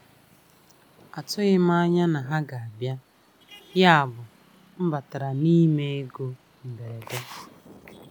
Atụghị m anya na ha ga abịa, yabụ m batara n'ime ego mberede.